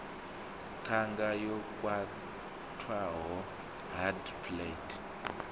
ṱhanga yo khwaṱhaho hard palate